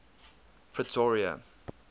pretoria